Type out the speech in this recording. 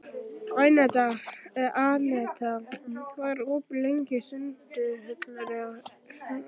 Anetta, hvað er opið lengi í Sundhöllinni?